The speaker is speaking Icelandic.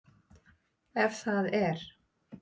Ef það er?